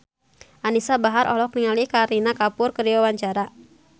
Anisa Bahar olohok ningali Kareena Kapoor keur diwawancara